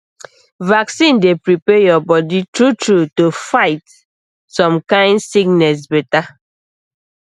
vaccine dey prepare your body truetrue to fight some kind sickness better